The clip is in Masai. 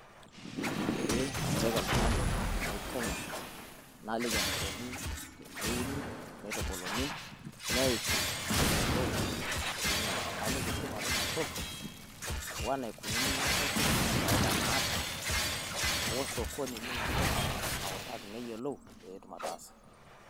Pee autaki oltung'ani, naiteng'en naliki enikoni teneuni neitubuluni neiki pee eyiolou sii ninye. Naliki tipat Ina toki o enaikununo Ina toki o faida naata, osokoni Lina toki naitaki niyiolou pee etum ataasa.